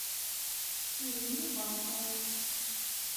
ирине басовой